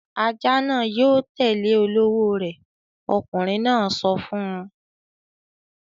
"Ajá náà yóò tẹ́lẹ̀ olówó rẹ̀!" Ọkùnrin náà sọ fún un.